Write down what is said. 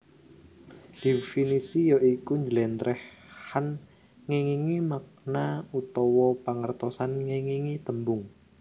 Definisi ya iku njlèntrèhan ngèngingi makna utawa pangertosan ngèngingi tembung